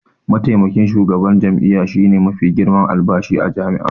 Mataimakin shugaban jami'a shine mafi girman albashi a jami'a.